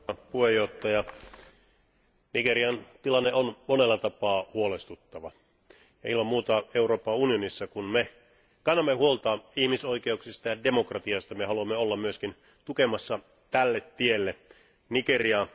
Arvoisa puhemies, Nigerian tilanne on monella tapaa huolestuttava. Ilman muuta Euroopan unionissa, kun me kannamme huolta ihmisoikeuksista ja demokratiasta, me haluamme olla myöskin tukemassa tälle tielle Nigeriaa.